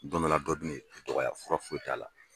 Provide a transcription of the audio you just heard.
Bamanan dɔ bɛ na i dɔgɔya, fura foyi t'a la.